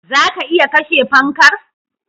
Zaka iya kashe fankar